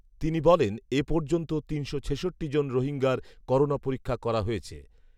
তিনি বলেন, এ পর্যন্ত তিনশো ছেষট্টি জন রোহিঙ্গার করোনা পরীক্ষা করা হয়েছে